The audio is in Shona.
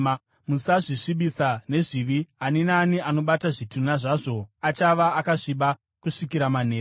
“ ‘Musazvisvibisa nezvizvi; ani naani anobata zvitunha zvazvo achava akasviba kusvikira manheru.